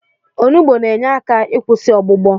Onugbo na-enye aka ikwụsị ọgbụgbọ.